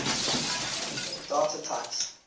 abstract data types